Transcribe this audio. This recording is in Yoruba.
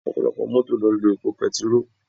Ọ̀pọ̀lọpọ̀ Mọ́tò ló ń lo epo bẹntiróò